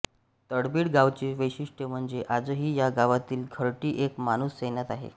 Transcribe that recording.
तळबीड गावचे वैशिष्ट्य म्हणजे आजही या गावातील घरटी एक माणूस सैन्यात आहे